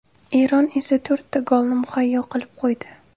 Eron esa to‘rtta golni muhayyo qilib qo‘ydi.